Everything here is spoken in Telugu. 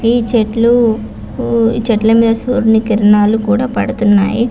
ఇ చెట్లు కు ఇ చెట్లు మిద సూర్య కిరణాలూ కూడా పడుతూనే.